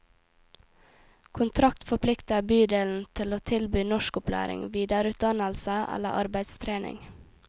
Kontrakt forplikter bydelen til å tilby norskopplæring, videreutdannelse eller arbeidstrening.